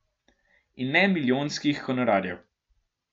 In ne milijonskih honorarjev.